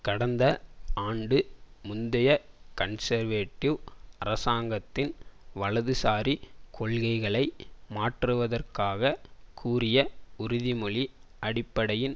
கடந்த ஆண்டு முந்தைய கன்சர்வேடிவ் அரசாங்கத்தின் வலதுசாரி கொள்கைகளை மாற்றுவதாக கூறிய உறுதிமொழி அடிப்படையில்